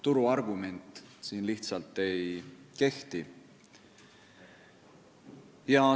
Turu argument siin lihtsalt ei kehti.